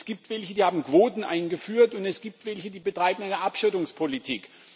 Es gibt welche, die haben Quoten eingeführt, und es gibt welche, die betreiben Abschottungspolitik.